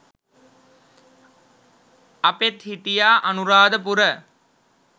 අපෙත් හිටියා අනුරාධපුර